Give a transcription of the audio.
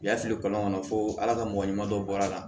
Y'a fili kɔlɔn kɔnɔ fo ala ka mɔgɔ ɲuman dɔ bɔra la